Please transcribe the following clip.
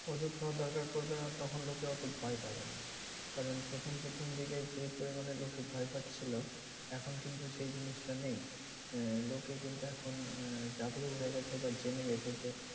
ওষুধ খাওয়ার দরকার পড়বে না তখন লোকে অত ভয় পাবে না। কারণ প্রথম প্রথম দিকে যে পরিমানে লোকে ভয় পাচ্ছিলো, এখন কিন্তু সেই জিনিসটা নেই। আহ লোকে কিন্তু এখন আহ জাগ্রহ হয়ে গেছে বা জেনে গেছে যে